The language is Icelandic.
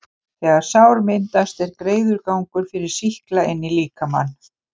þegar sár myndast, er greiður gangur fyrir sýkla inn í líkamann.